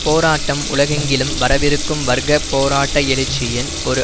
போராட்டம் உலகெங்கிலும் வரவிருக்கும் வர்க்க போராட்ட எழுச்சியின் ஒரு